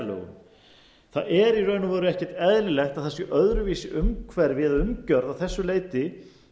í raun og veru ekki eðlilegt að það sé öðruvísi umhverfi eða umgjörð að þessu leyti